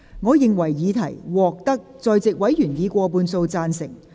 我認為議題獲得在席委員以過半數贊成。